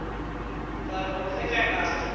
ka re go fetša ka